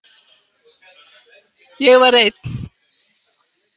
Ég var einn.